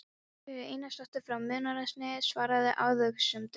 Sigríður Einarsdóttir frá Munaðarnesi svaraði athugasemdum